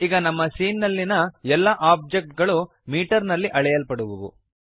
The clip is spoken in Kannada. ಈಗ ನಮ್ಮ ಸೀನ್ ನಲ್ಲಿಯ ಎಲ್ಲ ಓಬ್ಜೆಕ್ಟ್ ಗಳು ಮೀಟರ್ ನಲ್ಲಿ ಅಳೆಯಲ್ಪಡುವವು